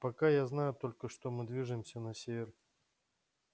пока я знаю только что мы движемся на север